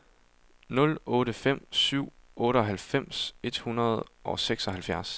nul otte fem syv otteoghalvfems et hundrede og seksoghalvfjerds